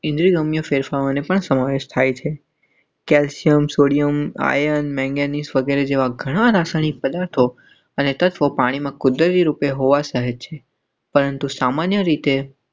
ઇન્દિરા મ્યુ ફેરફારોને પણ સમાવેશ થાય છે. કેલ્શિયમ સોડિયમ આયન, મેંગેનીઝ વગેરે જેવા ઘણા રાસાયણિક પદાર્થો અને તત્ત્વો પાણીમાં કૂદી રૂપે હોવા સહજ છે પરંતુ સામાન્ય રીતે.